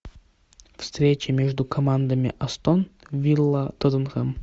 встреча между командами астон вилла тоттенхэм